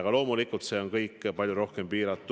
Aga loomulikult, see on kõik palju rohkem piiratud.